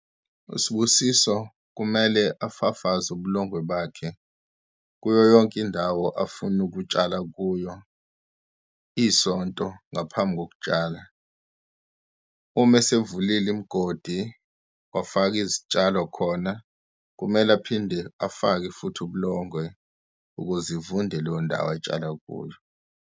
USibusiso kumele afafaze ubulongwe bakhe kuyo yonke indawo afuna ukutshala kuyo isonto ngaphambi kokutshala. Uma esevulile imgodi, wafaka izitshalo khona, kumele aphinde afake futhi ubulongwe, ukuze ivunde leyo ndawo atshala kuyo.